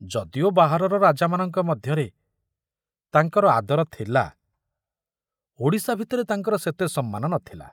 ଯଦିଓ ବାହାରର ରାଜାମାନଙ୍କ ମଧ୍ୟରେ ତାଙ୍କର ଆଦର ଥିଲା, ଓଡ଼ିଶା ଭିତରେ ତାଙ୍କର ସେତେ ସମ୍ମାନ ନଥିଲା।